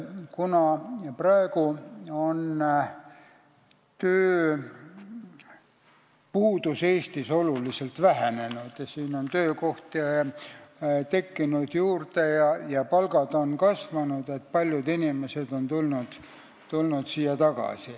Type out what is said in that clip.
Kuna tööpuudus on Eestis oluliselt vähenenud, töökohti on juurde tekkinud ja palgad on kasvanud, siis on paljud inimesed siia tagasi tulnud.